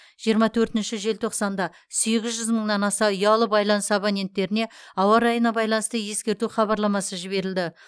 жиырма төртінші желтоқсанда сегіз жүз мыңнан аса ұялы байланыс абоненттеріне ауа райына байланысты ескерту хабарламасы жіберілді